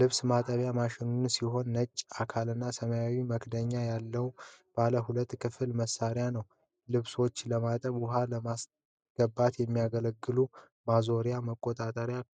ልብስ ማጠቢያ ማሽን ሲሆን ነጭ አካልና ሰማያዊ መክደኛ ያለው ባለ ሁለት ክፍል መሣሪያ ነው። ልብሶችን ለማጠብና ውኃ ለማስገባት የሚያገለግሉ ማዞሪያ መቆጣጠሪያዎች